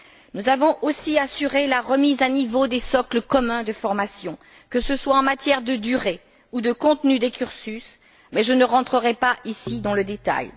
Nous avons aussi assuré la remise à niveau des socles communs de formation, que ce soit en matière de durée ou de contenu des cursus, mais je n'entrerai pas ici dans le détail.